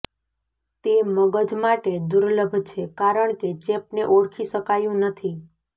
તે મગજ માટે દુર્લભ છે કારણકે ચેપને ઓળખી શકાયું નથી